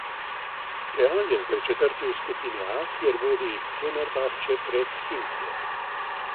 Real je zdaj četrti v skupini A, kjer vodi Fenerbahče pred Himkijem.